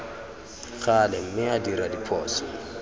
gale mme a dira diphoso